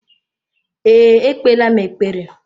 Ee, ekpeela m ekpere.